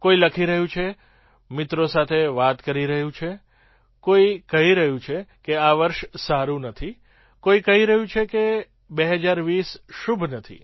કોઈ લખી રહ્યું છે મિત્રો સાથે વાત કરી રહ્યું છે કહી રહ્યું છે કે આ વર્ષ સારું નથી કોઈ કહી રહ્યું છે કે ૨૦૨૦ શુભ નથી